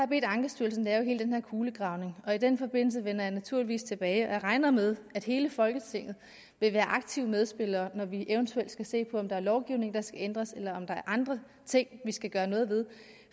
bedt ankestyrelsen lave hele den her kulegravning og i den forbindelse vender jeg naturligvis tilbage jeg regner med at hele folketinget vil være aktive medspillere når vi eventuelt skal se på om der er lovgivning der skal ændres eller om der er andre ting vi skal gøre noget ved